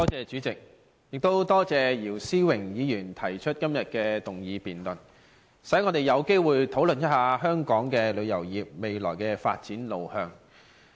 主席，多謝姚思榮議員提出今天這項議案，讓我們有機會討論一下香港旅遊業未來的發展路向。